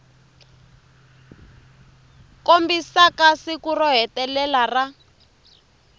kombisaka siku ro hetelela ra